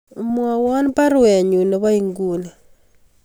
Mwowon baruenyun nebo inguni